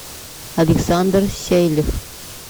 александр сейлев